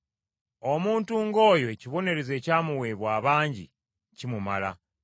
Omuntu ng’oyo ekibonerezo ekyamuweebwa abangi kimumala;